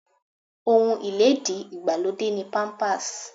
Ohun ilédi ìgbàlódé ni Pampers.